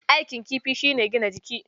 Aikin kifi shi ne gina jiki.